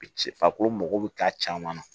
Ci farikolo mago bɛ k'a caman na